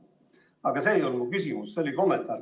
Aga see ei olnud mu küsimus, see oli kommentaar.